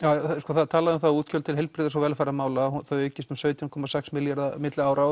það er talað um það að útgjöld til heilbrigðis og þau aukist um sautján komma sex milljarða á milli ára og